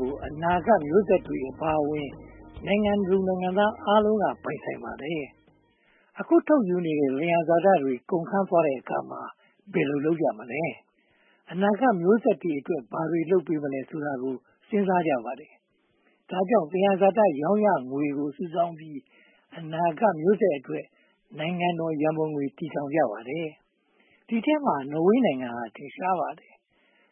ကို အနာဂတ်မျိုးဆက်တွေအပါအဝင် နိုင်ငံသူနိုင်ငံသားအားလုံးက ပိုင်ဆိုင်ပါတယ်။ အခုထုတ်ယူနေတဲ့ သယံဇာတတွေ ကုန်ခမ်းသွားတဲ့အခါမှာ ဘယ်လိုလုပ်ကြမလဲ။ အနာဂတ်မျိုးဆက်တွေအတွက် ဘာတွေလုပ်ပေးမလဲ ဆိုတာတွေကို စဉ်းစားကြပါတယ်။ ဒါကြောင့် သယံဇာတ ရောင်းရငွေတွေကို စုပေါင်းပြီး အနာဂတ်မျိုးဆက်အတွက် ‘နိုင်ငံတော်ရန်ပုံငွေ’ တည်ထောင်ကြပါတယ်။ ဒီအထဲမှာ နော်ဝေနိုင်ငံဟာ ထင်ရှားပါတယ်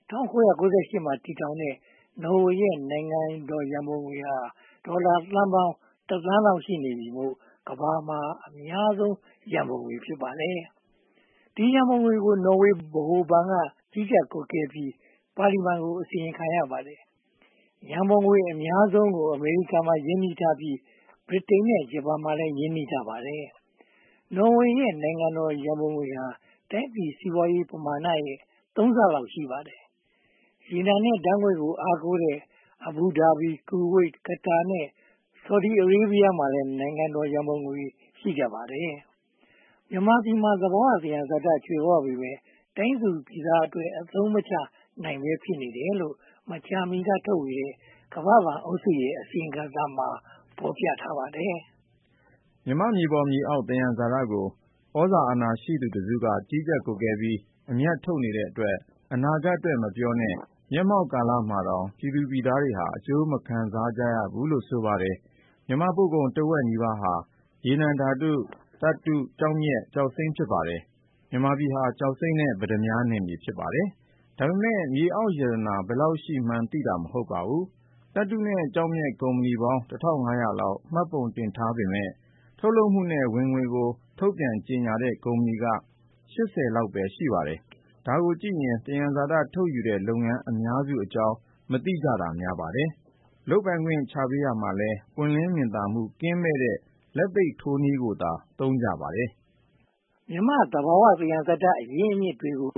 ။ ၁၉၉၈ မှာ တည်ထောင်တဲ့ နော်ဝေရဲ့ နိုင်ငံတော်ရန်ပုံငွေဟာ ဒေါ်လာသန်းပေါင်း သန်းလောက်ရှိနေပြီမို့ ကမ္ဘာမှာ အများဆုံးရန်ပုံငွေ ဖြစ်ပါတယ်။ ဒီရန်ပုံငွေကို နော်ဝေဗဟိုဘဏ်က ကြီးကြပ်ကွပ်ကဲပြီး ပါလီမန်ကို အစီရင်ခံရပါတယ်။ ရန်ပုံငွေ အများဆုံး ရာခိုင်နှုန်းကို အမေရိကန်မှာ ရင်းနှီးထားပြီး၊ ဗြိတိန် ရာခိုင်နှုန်းနဲ့ ဂျပန်မှာလည်း ရင်းနှီးထားပါတယ်။ နော်ဝေရဲ့ နိုင်ငံတော်ရန်ပုံငွေဟာ တိုင်းပြည်စီးပွားရေးပမာဏရဲ့ သုံးဆလောက် ရှိပါတယ်။ ရေနံနဲ့ဓါတ်ငွေ့ကို အားကိုးတဲ့ Abu Dhabi, Kuwait, Qatar နဲ့ Saudi Arabia မှာလည်း နိုင်ငံတော်ရန်ပုံငွေတွေ ရှိကြပါတယ်။ မြန်မာပြည်မှာ သဘာဝသယံဇာတ ကြွယ်ဝပေမယ့် တိုင်းသူပြည်သားအတွက် အသုံးမချနိုင်ဘဲ ဖြစ်နေတယ်လို့ မကြာမီကထုတ်ဝေတဲ့ ကမ္ဘာ့ဘဏ်အုပ်စုရဲ့ အစီရင်ခံစာမှာ ဖော်ပြထားပါတယ်။ မြန်မာ့မြေပေါ်မြေအောက် သယံဇာတကို သြဇာအာဏာရှိသူတစုက ကြီးကြပ်ကွပ်ကဲပြီး အမြတ်ထုတ်နေတဲ့အတွက် အနာဂတ်အတွက် မပြောနဲ့ မျက်မှောက်ကာလမှာတောင် ပြည်သူပြည်သားတွေဟာ အကျိုးမခံစားရဘူးလို့ ဆိုပါတယ်။ မြန်မာ့ပို့ကုန်တဝက်နီးပါးဟာ ရေနံဓါတ်ငွေ့၊ သတ္တု၊ ကျောက်မျက်နဲ့ ကျောက်စိမ်းတို့ ဖြစ်ပါတယ်။ မြန်မာပြည်ဟာ ကျောက်စိမ်းနဲ့ ပတ္တမြားနယ်မြေ ဖြစ်ပါတယ်။ ဒါပေမဲ့ မြေအောက်ရတနာ ဘယ်လောက်ရှိမှန်းသိတာ မဟုတ်ပါဘူး။ သတ္တုနဲ့ ကျောက်မျက်ကုမ္ပဏီပေါင်း လောက် မှတ်ပုံတင်ထားပေမယ့် ထုတ်လုပ်မှုနဲ့ ဝင်ငွေကို ထုတ်ပြန်ကြေညာတဲ့ ကုမ္ပဏီက ပဲ ရှိပါတယ်။ ဒါကိုကြည့်ရင် သယံဇာတ ထုတ်ယူနေတဲ့ လုပ်ငန်းအများစုအကြောင်း မသိတာများပါတယ်။ လုပ်ပိုင်ခွင့်ချပေးရာမှာလည်း ပွင့်လင်းမြင်သာမှု ကင်းမဲ့တဲ့ လက်သိပ်ထိုးနည်းကိုသာ သုံးကြပါတယ်။ မြန်မာ့သဘာဝ သယံဇာတအရင်းအမြစ်တွေကို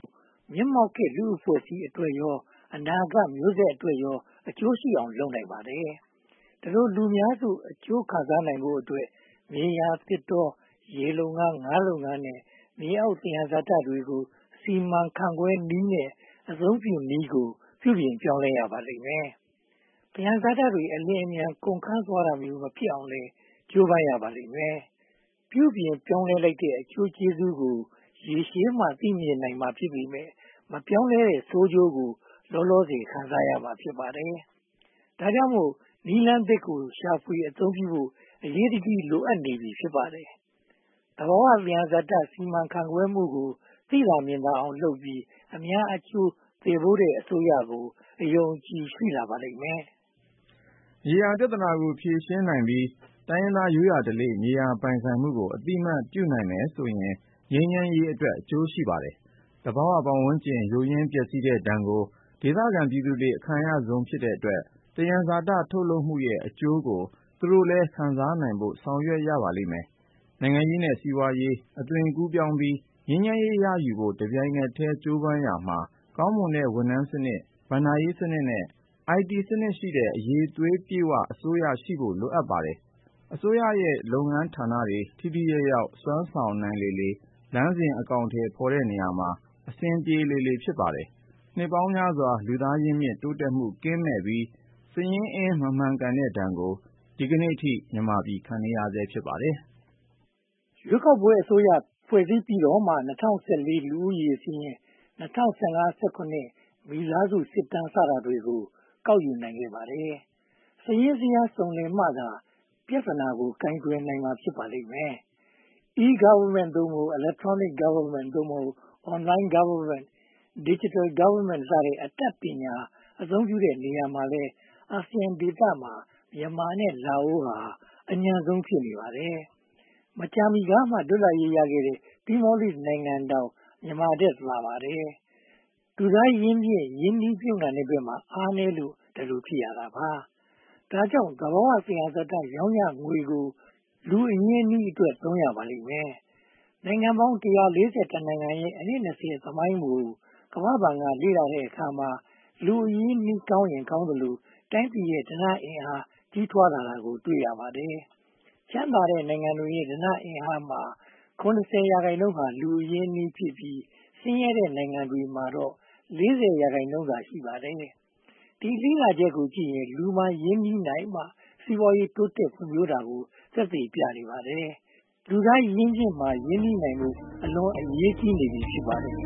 မျက်မှောက်ခေတ်လူ့ အဖွဲ့အစည်းအတွက်ရော၊ အနာဂတ်မျိုးဆက်တွေအတွက်ရော အကျိုးရှိအောင် လုပ်နိုင်ပါတယ်။ ဒီလိုလူများစု အကျိုးခံစားနိုင်ဖို့အတွက် မြေယာ၊ သစ်တော၊ ရေလုပ်ငန်း၊ ငါးလုပ်ငန်းနဲ့ မြေအောင်သယံဇာတတွေကို စီမံခန့်ခွဲနည်းနဲ့ အသုံးပြုနည်းကို ပြုပြင်ပြောင်းလဲရပါလိမ့်မယ်။ သယံဇာတတွေ အလျှင်အမြန် ကုန်ခမ်းသွားတာမျိုး မဖြစ်ရအောင်လည်း ကြိုးပမ်းရပါလိမ့်မယ်။ ပြုပြင်ပြောင်းလဲလိုက်တဲ့ အကျိုးကျေးဇူးကို ရေရှည်မှ သိမြင်နိုင်မှာ ဖြစ်ပေမယ့် မပြောင်းလဲတဲ့ ဆိုးကျိုးကို လောလောဆယ် ခံစားရမှာ ဖြစ်ပါတယ်။ ဒါကြောင့်မို့ နည်းလမ်းသစ်ကို ရှာဖွေအသုံးပြုနိုင်ဖို့ အရေးတကြီး လိုအပ်နေပြီ ဖြစ်ပါတယ်။ သဘာဝသယံဇာတ စီမံခန့်ခွဲမှုကို သိသာမြင်သာအောင်လုပ်ပြီး အများအကျိုးသယ်ပိုးတဲ့အစိုးရကို အယုံအကြည် ရှိလာပါလိမ့်မယ်။ မြေယာပြဿနာကို ဖြေရှင်းနိုင်ပြီး တိုင်းရင်းသား ရိုးရာဓလေ့ မြေယာပိုင်ဆိုင်မှုကို အသိအမှတ်ပြုနိုင်မယ်ဆိုရင် ငြိမ်းချမ်းရေးအတွက် အကျိုးရှိပါတယ်။ သဘာဝပတ်ဝန်းကျင် ယိုးယွင်းပျက်စီးတဲ့ဒဏ်ကို ဒေသခံပြည်သူတွေ အခံရဆုံးဖြစ်တဲ့အတွက် သယံဇာတ ထုတ်လုပ်မှုရဲ့ အကျိုးကို သူတို့လည်း ခံစားနိုင်ဖို့ ဆောင်ရွက်ရပါလိမ့်မယ်။ နိုင်ငံရေးနဲ့ စီးပွားရေးအသွင်ကူးပြောင်းပြီး ငြိမ်းချမ်းရေးရယူဖို့ တပြိုင်တည်း ကြိုးပမ်းရာမှာ ကောင်းမွန်တဲ့ ဝန်ထမ်းစနစ်၊ ဘဏ္ဍာရေးစနစ်နဲ့ အိုင်တီစနစ်ရှိတဲ့ အရည်အသွေးပြည့်ဝတဲ့ အစိုးရရှိဖို့ လိုပါတယ်။ အစိုးရရဲ့ လုပ်ငန်းဌာနတွေ ထိထိရောက်ရောက် စွမ်းဆောင်နိုင်လေလေ၊ လမ်းစဉ်အကောင်အထည်ဖော်တဲ့ နေရာမှာ အဆင်ပြေလေလေ ဖြစ်ပါတယ်။ နှစ်ပေါင်းများစွာ လူသားရင်းမြစ် တိုးတက်မှုကင်းမဲ့ပြီး စာရင်းအင်း မမှန်ကန်တဲ့ဒဏ်ကို ဒီကနေအထိ ခံနေရဆဲ ဖြစ်ပါတယ်။ ရွေးကောက်ပွဲအစိုးရ ဖွဲ့စည်းပြီးတော့မှ ၂၀၁၄ လူဦးရေစာရင်း၊ ၂၀၁၅-၂၀၁၇ မိသားစုစစ်တမ်း စတာတွေကို ကောက်ယူနိုင်ခဲ့ပါတယ်။ စာရင်းဇယားစုံလင်မှသာ ပြဿနာကို ကိုင်တွယ်ဖြေရှင်းနိုင်ပါလိမ့်မယ်။ e-Government Electronic Government Online Govt, Digital Govt အတတ်ပညာ အသုံးပြုတဲ့နေရာမှာလည်း အာဆီယံဒေသမှာ မြန်မာနဲ့ လာအိုနိုင်ငံတို့ဟာ အညံ့ဆုံး ဖြစ်နေပါတယ်။ မကြာမီကမှ လွတ်လပ်ရေးရခဲ့တဲ့ Timor-Leste နိုင်ငံတောင် မြန်မာထက်သာပါတယ်။ လူသားရင်းမြစ် ရင်းနှီးမြုပ်နံှမှုဘက်မှာ အားနည်းလို့ ဒီလိုဖြစ်ရတာပါ။ ဒါကြောင့် သဘာဝသယံဇာတ ရောင်းရငွေကို လူသားအရင်းအနှီးအတွက် သုံးရပါလိမ့်မယ်။ နိုင်ငံပေါင်း နိုင်ငံရဲ့ အနှစ် သမိုင်းကို ကမ္ဘာ့ဘဏ်က လေ့လာတဲ့အခါမှာ လူသားအရင်းအနှီး ကောင်းရင်ကောင်းသလို တိုင်းပြည်ရဲ့ ဓနအင်အား ကြီးထွားလာတာကို တွေ့ရပါတယ်။ ချမ်းသာတဲ့နိုင်ငံတွေရဲ့ ဓနအင်အားမှာ ရာခိုင်နှုန်းဟာ လူအရင်းအနှီးဖြစ်ပြီး၊ ဆင်းရဲတဲ့နိုင်ငံတွေမှာတော့ ရာခိုင်နှုန်းသာ ရှိပါတယ်။ ဒီလေ့လာချက်ကိုကြည့်ရင် လူမှာရင်းနှီးမြုပ်နံှမှသာ စီးပွားရေးတိုးတက်ဖွံ့ဖြိုးတာကို သက်သေပြနေပါတယ်။ လူသားရင်းမြစ်မှာ ရင်းနှီးနိုင်ဖို့ အလွန်အရေးကြီးနေပြီ ဖြစ်ပါတယ်။